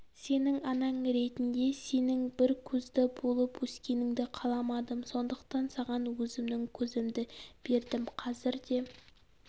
сенің анаң ретінде сенің бір көзді болып өскеніңді қаламадым сондықтан саған өзімнің көзімді бердім қазір де